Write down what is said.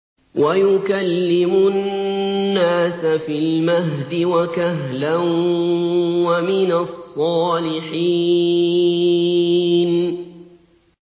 وَيُكَلِّمُ النَّاسَ فِي الْمَهْدِ وَكَهْلًا وَمِنَ الصَّالِحِينَ